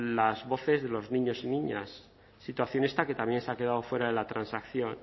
las voces de los niños y niñas situación esta que también se ha quedado fuera de la transacción